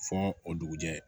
Fɔ o dugujɛ